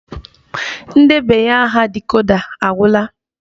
Ndebanya aha dịkoda agwula